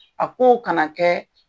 A kow kana kɛ.